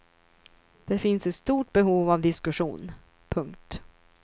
Det finns ett stort behov av diskussion. punkt